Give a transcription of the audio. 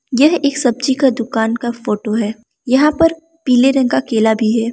यह एक सब्जी का दुकान का फोटो है यहाँ पर पिले रंग का केला भी है।